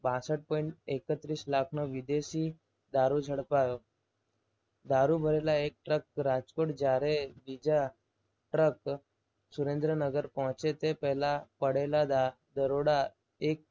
બાસઠ પોઈન્ટ એકત્રીસ લાખના વિદેશી દારૂ ઝડપાયો. ભરેલા એક ટ્રક રાજકોટ જ્યારે બીજા ટ્રક સુરેન્દ્રનગર પહોંચે તે પહેલા પડેલા ધરોડા એક